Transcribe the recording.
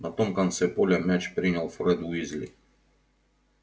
на том конце поля мяч принял фред уизли